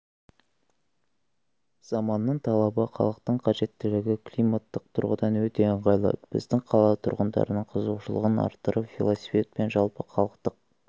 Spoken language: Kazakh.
заманның талабы халықтың қажеттілігі климаттық тұрғыдан өте ыңғайлы біздің қала тұрғындарының қызығушылығын арттырып велосипед жалпыхалықтық